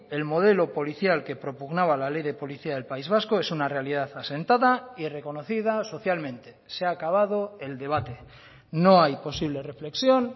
el modelo policial que propugnaba la ley de policía del país vasco es una realidad asentada y reconocida socialmente se ha acabado el debate no hay posible reflexión